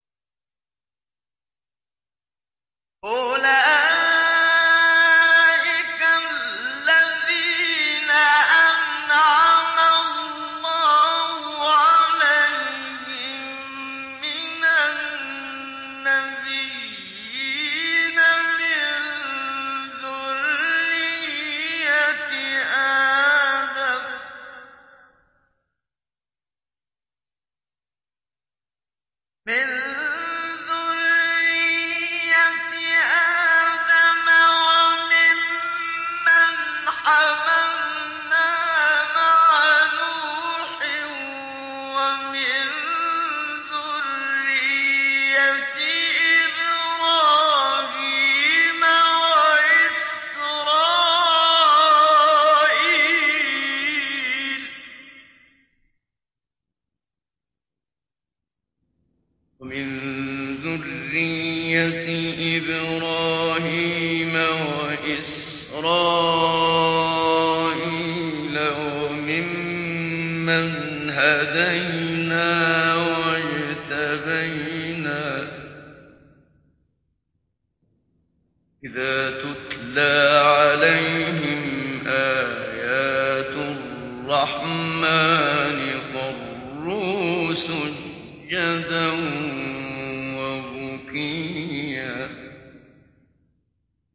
أُولَٰئِكَ الَّذِينَ أَنْعَمَ اللَّهُ عَلَيْهِم مِّنَ النَّبِيِّينَ مِن ذُرِّيَّةِ آدَمَ وَمِمَّنْ حَمَلْنَا مَعَ نُوحٍ وَمِن ذُرِّيَّةِ إِبْرَاهِيمَ وَإِسْرَائِيلَ وَمِمَّنْ هَدَيْنَا وَاجْتَبَيْنَا ۚ إِذَا تُتْلَىٰ عَلَيْهِمْ آيَاتُ الرَّحْمَٰنِ خَرُّوا سُجَّدًا وَبُكِيًّا ۩